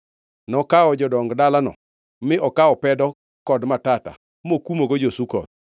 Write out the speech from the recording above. Nokawo jodong dalano mi okawo pedo kod matata mokumogo jo-Sukoth.